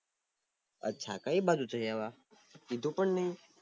આછા કય બાજુ જાય આવ્યા કીધું પણ નય